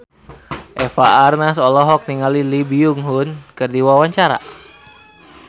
Eva Arnaz olohok ningali Lee Byung Hun keur diwawancara